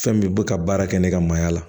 Fɛn min bɛ ka baara kɛ ne ka mayya la